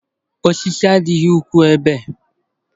Osisi adịghị ukwuu ebe